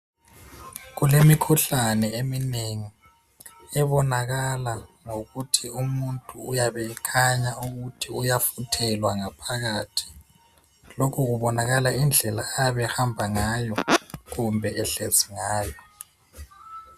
Kulemikhuhlane eminengi ebonakala ngokuthi umuntu uyabe ekhanya ukuthi uyafuthelwa ngaphakathi lokhu kubonakala ngendlela ayabe ehamba ngayo kumbe ehlezi ngayo